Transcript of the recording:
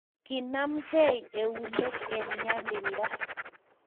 Kinamegei keunek eng nyalilda